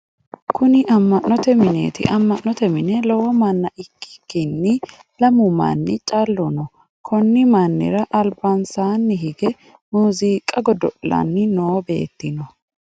Kunni ama'note mineeti. Ama'note mine lowo manna ikikinni lamu manni calu no. Konni mannira albansaanni hige muuziiqa godo'lanni noo beeti no.